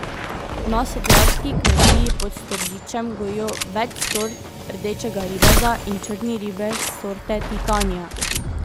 Na sadjarski kmetiji pod Storžičem gojijo več sort rdečega ribeza in črni ribez sorte titania.